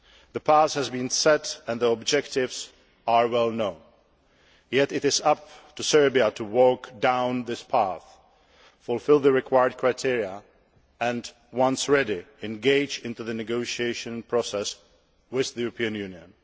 The path has been set and the objectives are well known, yet it is up to Serbia to walk down that path, fulfil the required criteria, and, once ready, engage in the negotiation process with the European Union.